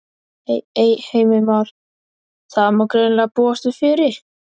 Heimir Már: Það má greinilega búast við fjöri?